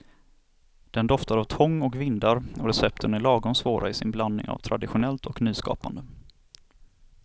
Den doftar av tång och vindar, och recepten är lagom svåra i sin blandning av traditionellt och nyskapande.